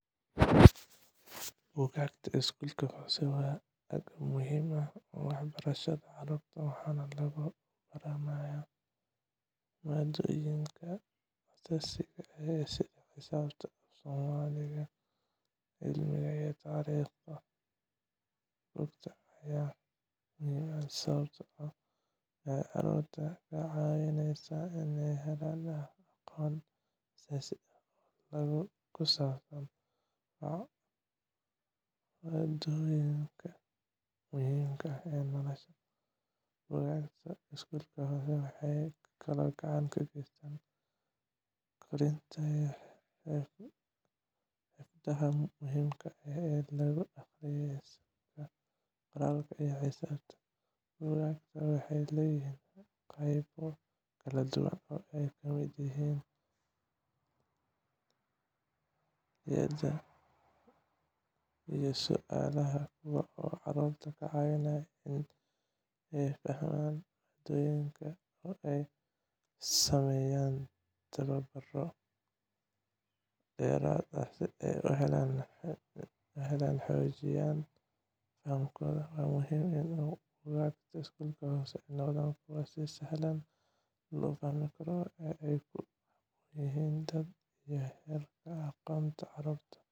Buugaagta iskuulka hoose waa agab muhiim u ah waxbarashada carruurta, waxaana lagu baranayaa maadooyinka aasaasiga ah sida xisaabta, af-soomaaliga, cilmiga, iyo taariikhda. Buugaagtan ayaa muhiim ah, sababtoo ah waxay carruurta ka caawinayaan inay helaan aqoon aasaasi ah oo ku saabsan mawduucyada muhiimka ah ee noloshooda. Buugaagta iskuulka hoose waxay kaloo gacan ka geystaan koritaanka xirfadaha muhiimka ah sida akhriska, qoraalka, iyo xisaabta. Buugaagtaasi waxay leedahay qaybo kala duwan oo ay ka mid yihiin layliyada iyo su’aalaha, kuwaas oo carruurta ka caawinaya inay fahmaan maaddooyinka oo ay sameeyaan tababaro dheeraad ah si ay u xoojiyaan fahamkooda. Waxaa muhiim ah in buugaagta iskuulka hoose ay noqdaan kuwo si sahlan loo fahmi karo oo ay ku habboon yihiin da'da iyo heerka aqoonta ee carruurta